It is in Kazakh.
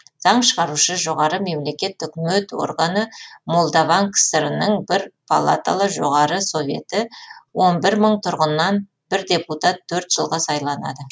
заң шығарушы жоғары мемлекет өкімет органы молдаван кср інің бір палаталы жоғары советі он бір мың тұрғыннан бір депутат төрт жылға сайланады